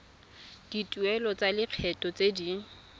dituelo tsa lekgetho tse di